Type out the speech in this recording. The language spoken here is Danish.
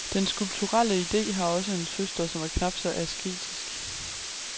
Den skulpturelle ide har også en søster, som er knap så asketisk.